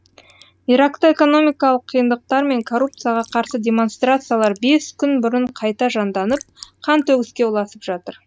иракта экономикалық қиындықтар мен коррупцияға қарсы демонстрациялар бес күн бұрын қайта жанданып қантөгіске ұласып жатыр